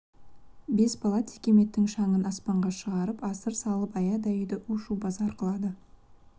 бес бала текеметтің шаңын аспанға шығарып асыр салып аядай үйді у-шу базар қылады